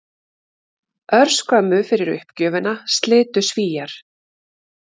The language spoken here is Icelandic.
Örskömmu fyrir uppgjöfina slitu Svíar